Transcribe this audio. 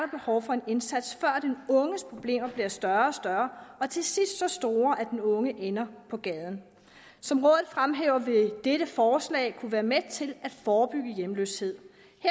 behov for en indsats før den unges problemer bliver større og større og til sidst så store at den unge ender på gaden som rådet fremhæver vil dette forslag kunne være med til at forebygge hjemløshed